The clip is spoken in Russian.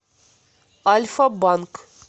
альфа банк